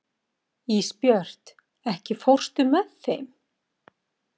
Ísbjört, ekki fórstu með þeim?